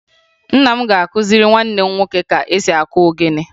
Nna m ga-akụziri nwanne m nwoke ka esi akụ ogene